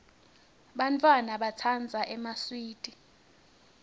bantfwana batsandza emaswidi